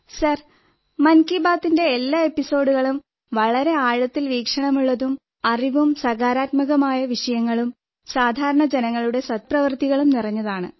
sir മൻ കീ ബാത്തിന്റെ എല്ലാ എപ്പിസോഡുകളും വളരെ ആഴത്തിൽ വീക്ഷണമുള്ളതും അറിവും സകാരാത്മകമായ വിഷയങ്ങളും സാധാരണ ജനങ്ങളുടെ സദ്പ്രവർത്തികളും നിറഞ്ഞതാണ്